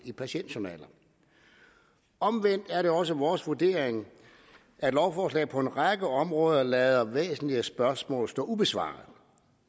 i patientjournaler omvendt er det også vores vurdering at lovforslaget på en række områder lader væsentlige spørgsmål stå ubesvaret